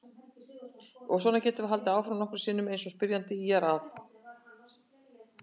Og svona getum við haldið áfram nokkrum sinnum eins og spyrjandi ýjar að.